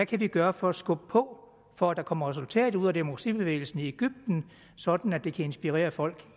kan vi gøre for at skubbe på for at der kommer et resultat ud af demokratibevægelsen i egypten sådan at det kan inspirere folk